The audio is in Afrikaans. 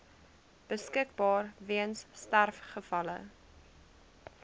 beskikbaar weens sterfgevalle